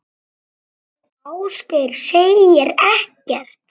Ásgeir segir ekkert.